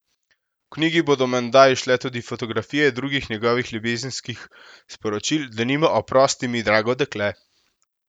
V knjigi bodo menda izšle tudi fotografije drugih njegovih ljubezenskih sporočil, denimo: "Oprosti mi, drago dekle.